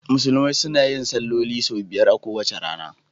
Musulmai suna yin salloli sau biyar a kowace rana.